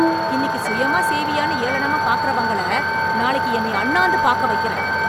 இன்னிக்கு சுயமா செய்வியான்னு ஏளனமா பாக்றவங்கள நாளைக்கு என்னய அண்ணாந்து பாக்க வைக்கிறேன்.